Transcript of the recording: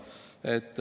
Nii et selliselt see on.